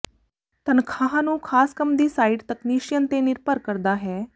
ਤਨਖਾਹ ਨੂੰ ਖਾਸ ਕੰਮ ਦੀ ਸਾਈਟ ਤਕਨੀਸ਼ੀਅਨ ਤੇ ਨਿਰਭਰ ਕਰਦਾ ਹੈ